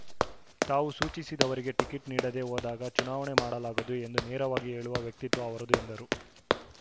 ತಾವು ಸೂಚಿಸದವರಿಗೆ ಟಿಕೆಟ್‌ ನೀಡದೆ ಹೋದಾಗ ಚುನಾವಣೆ ಮಾಡಲಾಗದು ಎಂದು ನೇರವಾಗಿ ಹೇಳುವ ವ್ಯಕ್ತಿತ್ವ ಅವರದು ಎಂದರು